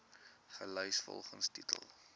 gelys volgens titel